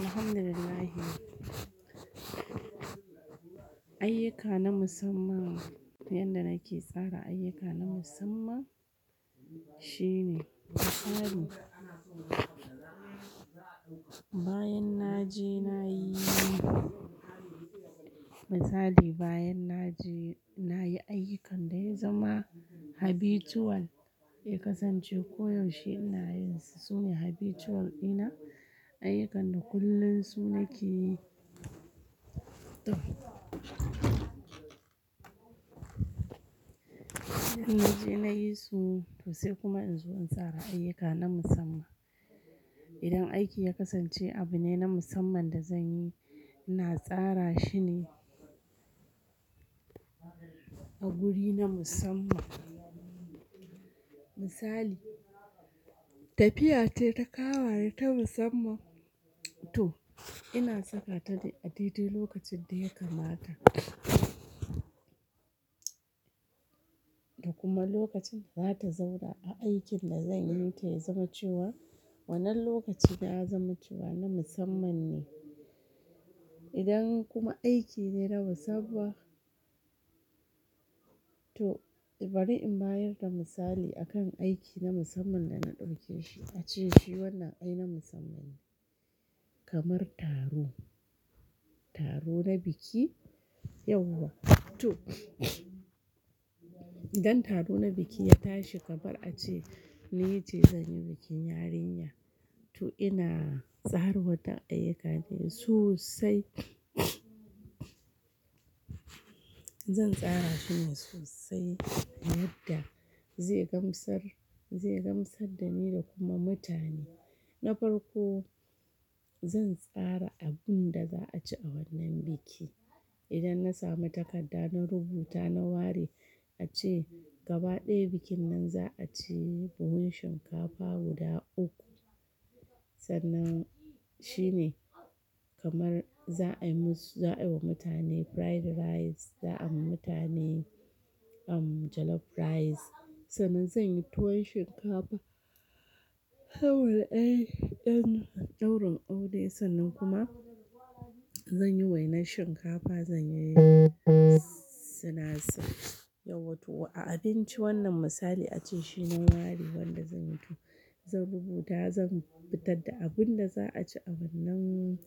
Alhamdulillah. Ayuka na musamman, yanda nake tsara ayuka na musamman shine misali, bayan na je na yi, misali bayan na je na yi ayyukan da ya zama habitual ya kasance koyaushe ina yin su, sune habitual ina ayyukan da kullum su nake yi. To, idan na je na yi su to sai kuma in zo in tsara ayuka na musamman. Idan aiki ya kasance abu ne na musamman da zan yi, ina tsara shine a guri na musamman. Misali, tafiya ce ta kawaye ta musamman. To ina saka ta ne a titi lokacin da ya kamata. Da kuma lokacin da za ta zauna a aikin da zanyi ke zamanciwa, wannan lokaci ya zamanciwa na musamman ne. Idan kuma aiki ne na musamman, to bari in bayar da misali akan aiki na musamman da na ɗauke shi ace shi wannan ai na musamman ne. Kamar taro, taro na biki yauwa. To, idan taro na biki ya tashi, kamar a ce "Niyi, jiya zan yi bikin yarinya", to ina tsara waɗannan ayyuka ne sosai. Zan tsara shine sosai yadda zai gamsar, zai gamsar da ni da kuma mutane. Na farko zan tsara abin da za a ci a wannan biki. Idan na sami takarda na rubuta na ware ace gaba ɗaya bikin nan za a ci buhun shinkafa guda uku. Sannan shine kamar za a yi musu, za a yi wa mutane fried rice, za a yi wa mutane jollof rice. Sannan zan yi tuwon shinkafa, kawai ɗan ɗaurin aure sannan kuma zan yi wainar shinkafa, zan yi sinasir. Yauwa to a abinci wannan misali ace shi na ware wanda zan yi to zan rubuta zan fitar da abin da za a ci a wannan